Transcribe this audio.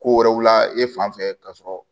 Ko wɛrɛw la e fan fɛ ka sɔrɔ